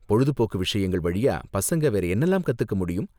பொழுதுபோக்கு விஷயங்கள் வழியா பசங்க வேற என்னலாம் கத்துக்க முடியும்?